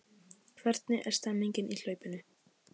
Hvernig er stemningin í hlaupinu?